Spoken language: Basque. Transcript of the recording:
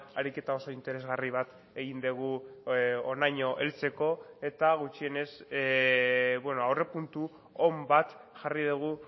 ariketa oso interesgarri bat egin dugu honaino heltzeko eta gutxienez aurre puntu on bat jarri dugu